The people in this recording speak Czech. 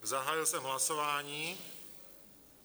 Zahájil jsem hlasování.